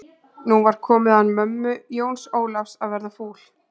Nú var komið að mömmu Jóns Ólafs að verða fúl.